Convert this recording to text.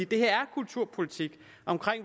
det her er kulturpolitik om